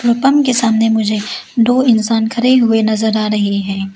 और पंप के सामने मुझे दो इंसान खड़े हुए नजर आ रहे हैं।